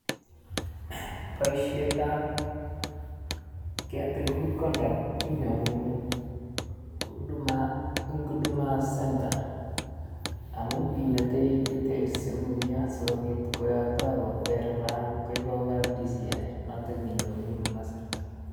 Boisietab ketil good conduct inyorun eng huduma center amun imetei details cheguk eng yo siko bit koyokto koverifayan koib akoi kab disiyai noto ni inyorun eng huduma centre.